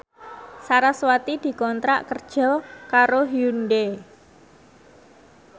sarasvati dikontrak kerja karo Hyundai